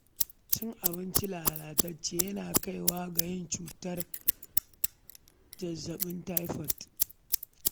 Cin abinci lalatacce yana kai wa ga cutar zazzaɓin taifot